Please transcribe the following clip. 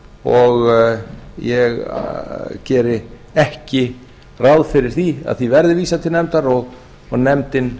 og ég geri ekki ráð fyrir því að því verði vísað til nefndar og nefndin